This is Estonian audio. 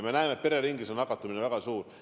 Me näeme, et pereringis nakatumine on väga suur.